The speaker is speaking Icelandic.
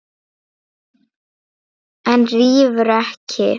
En rífur ekki.